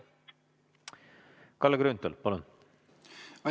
Kalle Grünthal, palun!